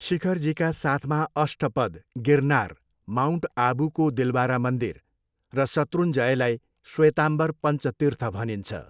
शिखरजीका साथमा अष्टपद, गिरनार, माउन्ट अबूको दिलवारा मन्दिर र शत्रुञ्जयलाई श्वेतम्बर पञ्च तीर्थ भनिन्छ।